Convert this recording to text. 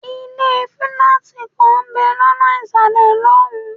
ilé fílátì kan ń bẹ̀ lọ́nà ìsàlẹ̀ lọ́hùn-ún.